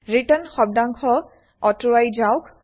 return শব্দাংশ অতৰুবাই যাওক